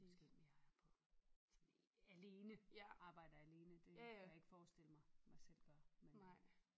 Måske mere er på sådan alene arbejder alene det kan jeg ikke forestille mig mig selv gøre men øh